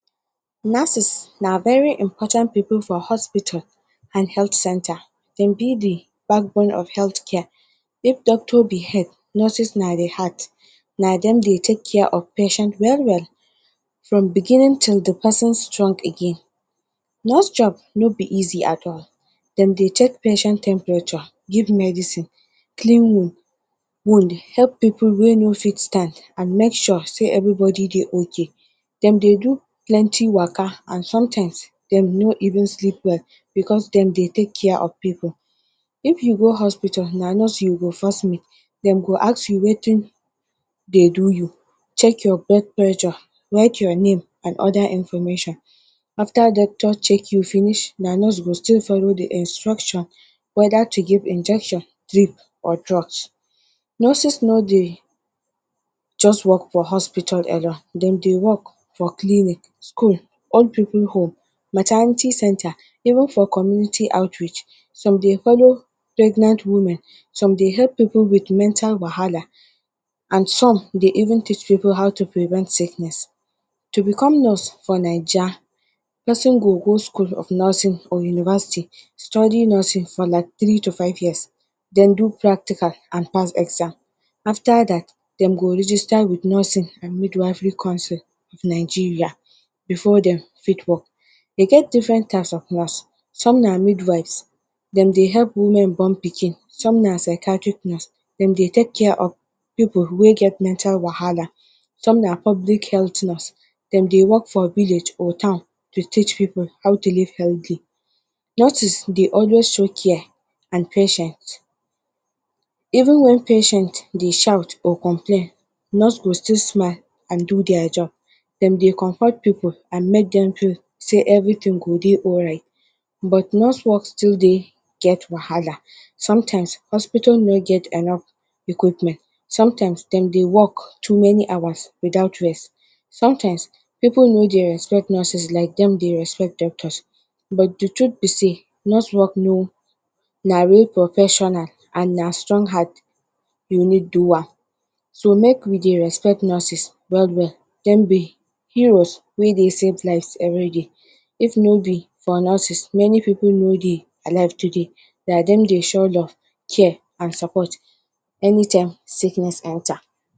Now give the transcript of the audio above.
Nurses na very important people for hospital and health center, dem be the backbone of health care, if doctor behave, nurses na react, na dem dey take care of patient well-well from the beginning till the person strong again. Nurse Job no be easy at all, dem dey check patient temperature, give medicine, clean wound help pipul way no fit stand and make sure sey everybody dey ok. dem dey do plenty waka and sometimes dem no even sleep well because dem dey take care of pipul. If you go hospital na nurse you go first meet, dem go ask you wetin dey do you, check your blood pressure, write your name and other information. After dey check you finish na nurse go still follow the instruction whether to give injection, drib or drug. Nurses no dey just work for hospital alone, dem dey work for clinic, school, old pipul home, maternity center and even for community outreach. Some dey follow pregnant women, some dey follow pipul with mental wahala and some dey even teach pipul how to prevent sickness. To become nurse for Naija, person go go school of nursing or university study nurse for like three to five years, den do practical and pass exam. After dat, dem go register with nursing and midwifery council of Nigeria before dem fit work. E get different type of nurse, some na midwives, dem dey help women born pikin, some na sacatry nurse dem dey take care of pipul wey get mental wahala, some na public health nurse, dem dey work for village or town to teach pipul how to live healthy. Nurses dey always show care and patient even when patient dey shout or complain nurses go still do their job, dem dey comfort pipul and make dem feel everything go dey alright but nurse work still dey get wahala, sometimes hospital no get enough equipment, sometime dem dey work too many hour without rest. Sometime, pipul no dey respect nurses like dem dey respect doctor but the truth be sey nurse work na real professional and na strong heart you need do am. Make we dey respect nurses well-well, dem be heroes wey dey save lives every day if no be for nurses, many pipul for no dey alive today, na dem dey show love, care and support anytime sickness enter.